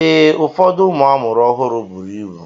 Ee, ụfọdụ ụmụ amụrụ ọhụụ bụrụ ịbụ.